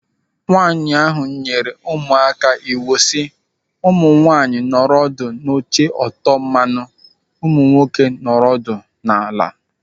Nwaanyị ahụ nyere ụmụaka iwu si, "Ụmụ nwaanyị nọrọ ọdụ n'oche Otomanu; ụmụ nwoke, nọrọ ọdụ n'ala!"